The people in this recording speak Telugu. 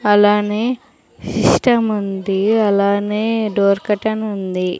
అలానే సిస్టమ్ ఉంది అలానే డోర్ కర్టెన్ ఉంది.